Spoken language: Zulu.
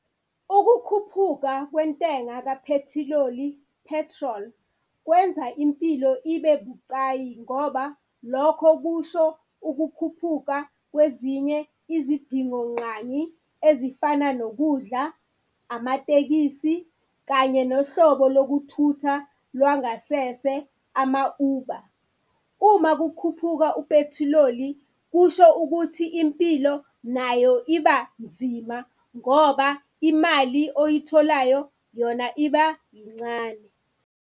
Ukukhuphuka kwentenga kaphethiloli, petrol, kwenza impilo ibebucayi ngoba lokho kusho ukukhuphuka kwezinye izidingongqangi ezifana nokudla, amatekisi kanye nohlobo lokuthutha lwangasese, ama-Uber. Uma kukhupuka uphethiloli kusho ukuthi impilo nayo iba nzima ngoba imali oyitholayo yona iba yincane.